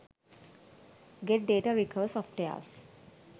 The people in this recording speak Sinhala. getdata recover softwares